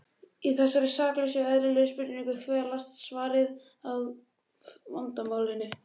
Í þessari saklausu og eðlilegri spurningu felst svarið við hluta af vandamálinu.